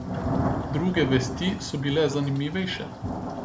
Druge vesti so bile zanimivejše.